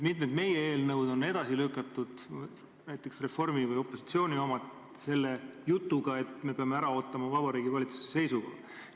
Mitmed Reformierakonna või üldse opositsiooni eelnõud on edasi lükatud selle jutuga, et me peame ära ootama Vabariigi Valitsuse seisukoha.